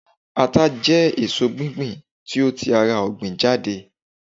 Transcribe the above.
ata je èso gbigbe ti o ti ara ogbin jade